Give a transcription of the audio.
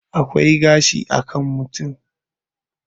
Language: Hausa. akwai gashi a kan mutum